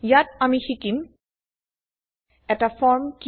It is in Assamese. ইয়াত আমি শিকিম এটা ফর্ম কি